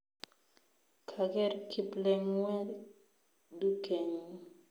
Kager kiplengwet dukenyi